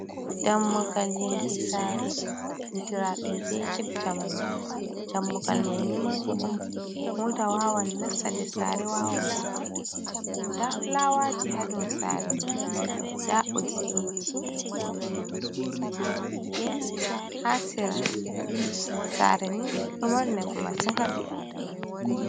Dammugal yonde sare, andira ɗon be get jamanu, dammugal mai ni manga on, mota wawan nasta nder sare wawan vurta, nda fulawaji ha ndir sare mai, nda ɓoggiji je hite hasira, sare ni ɗo mari nafu masin ha ɓi adamajo.